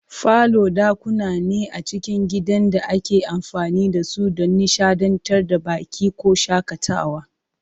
Falo dakuna ne a cikin gidan da ake amfani da su don nishadantar da baƙi ko shakatawa.